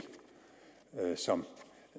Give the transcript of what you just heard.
som